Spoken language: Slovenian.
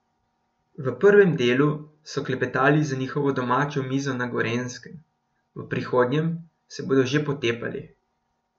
V prvem delu so klepetali za njihovo domačo mizo na Gorenjskem, v prihodnjem se bodo že potepali.